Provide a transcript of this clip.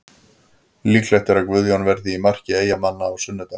Líklegt er að Guðjón verði í marki Eyjamanna á sunnudag.